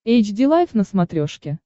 эйч ди лайф на смотрешке